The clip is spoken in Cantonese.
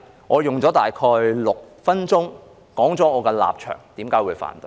我用了大概6分鐘說出我的立場和為何我會反對。